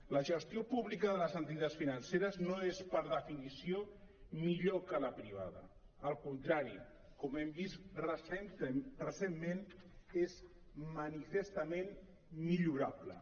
la gestió pública de les entitats financeres no és per definició millor que la privada al contrari com hem vist recentment és manifestament millorable